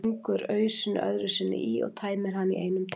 Stingur ausunni öðru sinni í og tæmir hana í einum teyg.